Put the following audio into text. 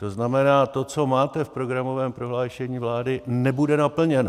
To znamená, to, co máte v programovém prohlášení vlády, nebude naplněno.